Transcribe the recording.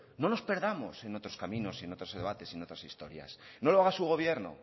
no nos perdamos en otros caminos y en otros debates y en otras historias no lo haga su gobierno